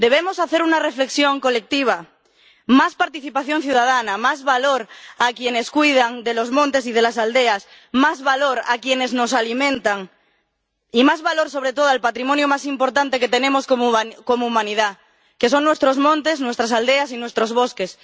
Debemos hacer una reflexión colectiva más participación ciudadana, más valor a quienes cuidan de los montes y de las aldeas, más valor a quienes nos alimentan, y más valor, sobre todo, al patrimonio más importante que tenemos como humanidad, que son nuestros montes, nuestras aldeas y nuestros bosques.